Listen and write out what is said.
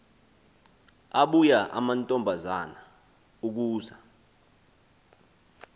abuya amantombazana ukuza